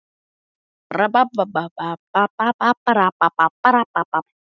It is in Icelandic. Fjölnismann, sem þá var kominn heim til Íslands.